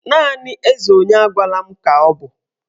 Naanị eze onye agwala m ka ọ bụ